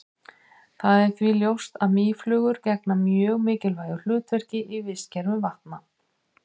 það er því ljóst að mýflugur gegna mjög mikilvægu hlutverki í vistkerfum vatna